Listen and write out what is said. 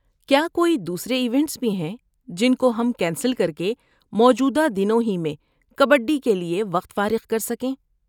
کیا کوئی دوسرے ایونٹس بھی ہیں جن کو ہم کینسل کر کے موجودہ دنوں ہی میں کبڈی کے لیے وقت فارغ کر سکیں؟